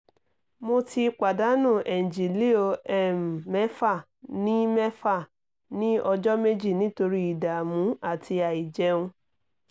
mo ti pàdánù ẹ̀ǹgílíò um mẹ́fà ní mẹ́fà ní ọjọ́ méjì nítorí ìdààmú àti àìjẹun